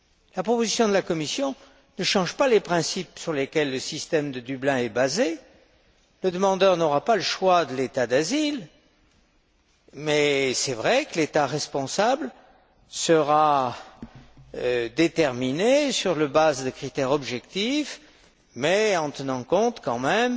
La proposition de la Commission ne change pas les principes sur lesquels le système de Dublin est basé. Le demandeur n'aura pas le choix de l'État d'asile, mais il est vrai que l'État responsable sera déterminé sur la base de critères objectifs en tenant compte tout de même